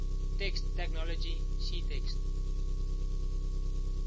text technology ctext